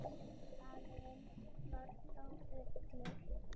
Salurinn var troðfullur.